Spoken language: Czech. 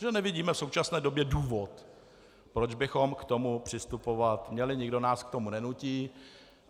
Že nevidíme v současné době důvod, proč bychom k tomu přistupovat měli, nikdo nás k tomu nenutí.